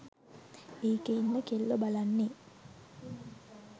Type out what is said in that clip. ඒකේ ඉන්න කෙල්ලො බලන්නෙ